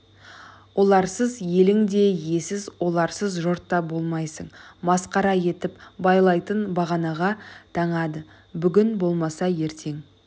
оларсыз елің де иесіз оларсыз жұрт та болмайсың масқара етіп байлайтын бағанаға таңады бүгін болмаса ертең